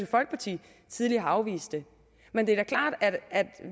folkeparti tidligere har afvist det men det er klart at